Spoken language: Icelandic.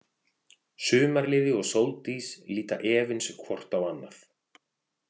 Sumarliði og Sóldís líta efins hvort á annað.